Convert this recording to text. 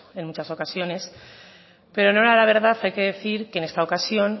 en muchas ocasiones pero en honor a la verdad hay que decir que en esta ocasión